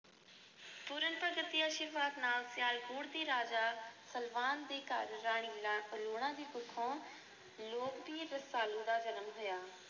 ਸਿਆਲਕੋਟ ਦੇ ਰਾਜਾ ਸਲਵਾਨ ਦੇ ਘਰ ਰਾਣੀ ਲੂਣਾ ਦੀ ਕੁੱਖੋਂ ਲੋਕ-ਬੀਰ ਰਸਾਲੂ ਦਾ ਜਨਮ ਹੋਇਆ।